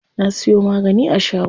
Na siyo magani a shago.